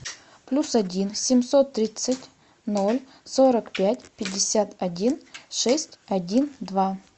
плюс один семьсот тридцать ноль сорок пять пятьдесят один шесть один два